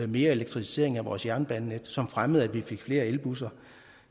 mere elektrificering af vores jernbanenet som fremmede at vi fik flere elbusser